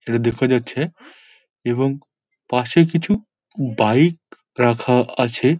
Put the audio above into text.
এটা দেখা যাচ্ছে এবং পশে কিছু বাইক রাখা আছে।